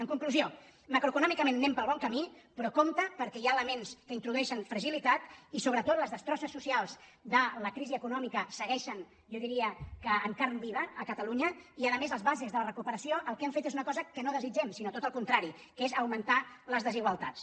en conclusió macroeconòmicament anem pel bon ca·mí però compte perquè hi ha elements que introduei·xen fragilitat i sobretot les destrosses socials de la crisi econòmica segueixen jo diria que en carn viva a catalunya i a més les bases de la recuperació el que han fet és una cosa que no desitgem sinó tot al contra·ri que és augmentar les desigualtats